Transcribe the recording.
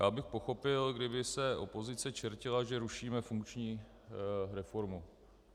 Já bych pochopil, kdyby se opozice čertila, že rušíme funkční reformu.